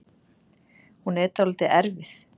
Hún er dálítið erfið